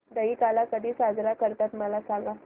दहिकाला कधी साजरा करतात मला सांग